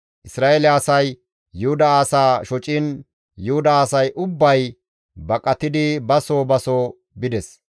Isra7eele asay Yuhuda asaa shociin Yuhuda asay ubbay baqatidi ba soo ba soo bides.